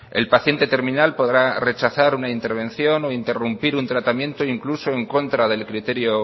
el paciente terminal podrá rechazar una intervención o interrumpir un tratamiento e incluso en contra del criterio